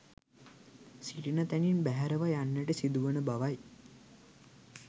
සිටින තැනින් බැහැරව යන්නට සිදුවන බවයි